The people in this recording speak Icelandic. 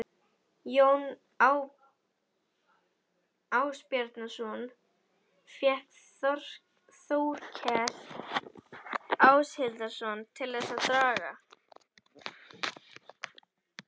Jón Ásbjarnarson fékk Þórkel Áshildarson til þess að draga